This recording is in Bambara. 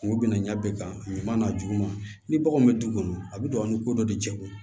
Kungo bina ɲa bɛɛ kan ɲaman n'a juguman ni baganw bɛ du kɔnɔ a bɛ don a ni ko dɔ de cɛkun ye